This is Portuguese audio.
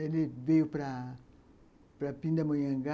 Ele veio para Pindamonhangá.